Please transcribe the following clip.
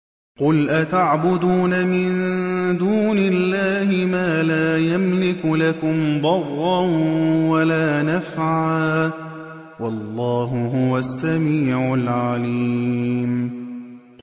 قُلْ أَتَعْبُدُونَ مِن دُونِ اللَّهِ مَا لَا يَمْلِكُ لَكُمْ ضَرًّا وَلَا نَفْعًا ۚ وَاللَّهُ هُوَ السَّمِيعُ الْعَلِيمُ